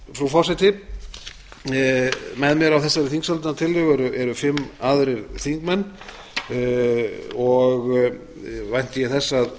frú forseti með mér á þessari þingsályktunartillögu eru fimm aðrir þingmenn og